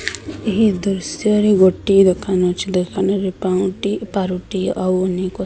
ଏହି ଦୃଶ୍ଯରେ ଗୋଟିଏ ଦୋକାନ ଅଛି। ଦୋକାନରେ ପାଉଁଟି ପାରୁଟି ଆଉ ଅନେକ --